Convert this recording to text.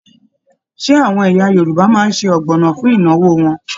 Ṣe àwọn ẹ̀yà Yorùbá máa n sé ọgbọnọ fún ìnáwó wọn?